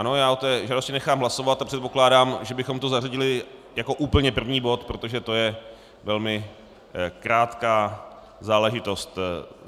Ano, já o té žádosti nechám hlasovat a předpokládám, že bychom to zařadili jako úplně první bod, protože to je velmi krátká záležitost.